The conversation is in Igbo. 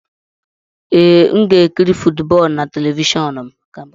Ee, m ga-ekiri footboolu na telivishọn m.